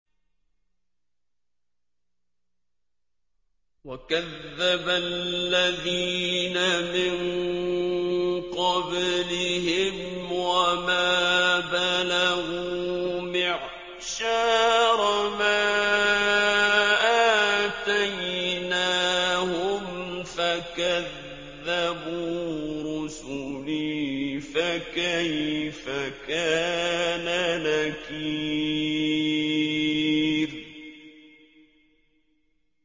وَكَذَّبَ الَّذِينَ مِن قَبْلِهِمْ وَمَا بَلَغُوا مِعْشَارَ مَا آتَيْنَاهُمْ فَكَذَّبُوا رُسُلِي ۖ فَكَيْفَ كَانَ نَكِيرِ